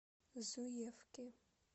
зуевки